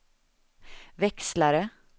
växlare